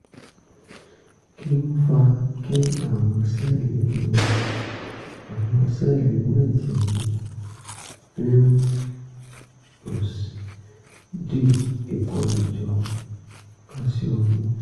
kí ló ń fa kí àwọn sẹ́ẹ̀lì inú àwọn sẹ́ẹ̀lì inú ẹ̀jẹ̀ mi di ìkórajọ káṣíọ́mù?